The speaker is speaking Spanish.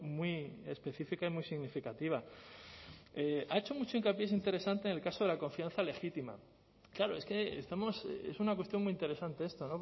muy específica y muy significativa ha hecho mucho hincapié es interesante en el caso de la confianza legítima claro es que estamos es una cuestión muy interesante esta